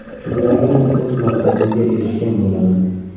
Shundagina o‘z maqsadimga erishgan bo‘laman”.